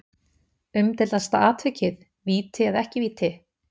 Umdeildasta atvikið Víti eða ekki víti?